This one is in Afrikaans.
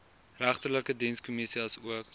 regterlike dienskommissie asook